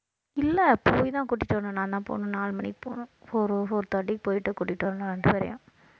இல்லை போய்தான் கூட்டிட்டு வரணும் நான்தான் போகணும் நாலு மணிக்கு போகணும் four four thirty க்கு போயிட்டு கூட்டிட்டு வரணும்